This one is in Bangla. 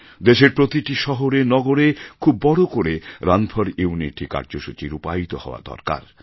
দেশের প্রতিটি শহরে নগরে খুব বড় করে রান ফোর ইউনিটি কার্যসূচি রূপায়িত হওয়া দরকার